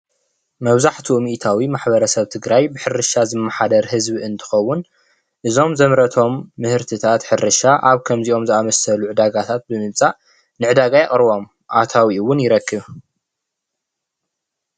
መብዛሕቲኡ ሚኢታዊ ማሕበረሰብ ትግራይ ብሕርሻ ዝመሓደር ህዝቢ እንትኸውን፣ እዞም ዘምረቶም ምህርትታት ሕርሻ አብከምዚኦም ዘአመሰሉ ዕዳጋታት ብምምጻእ ንዕዳጋ የቅርቦም ኣታዊኡ እውን ይረክብ።